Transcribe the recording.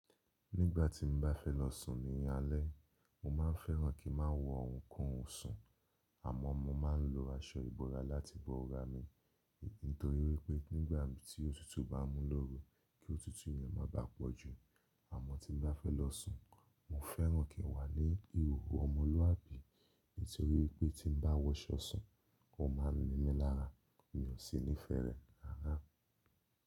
Nígbà tí mo bá fẹ́ lọ sùn ní alẹ́, mo máa n fẹ́ràn kí n má wo ohunkóhun sùn. Àmọ́ mo máa ń lo aṣọ ìbora láti bo ara mi, nítorí wípé nígbà tí òtútù bá mú lóru, kí òtútù yẹn má bàá pọ̀ jù. Àmọ́ tí mo bá fẹ́ lọ sùn, mo fẹ́ràn kí n wà ní ihòhò ọmọlúàbí, nítorí wípé tí n bá wọṣọ sùn, ó má ń nimí lára, mi ò sí nífẹ̀ẹ́ rẹ̀ rárá.